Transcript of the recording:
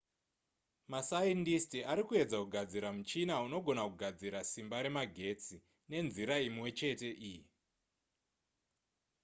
masaindisiti ari kuedza kugadzira muchina unogona kugadzira simba remagetsi nenzira imwe chete iyi